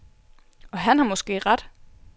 Og han har måske ret.